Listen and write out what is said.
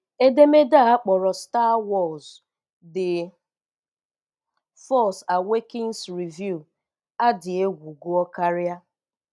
Edemede a akpọrọ "Star Wars: The Force Awakens review – a dị egwu Gụọ karịa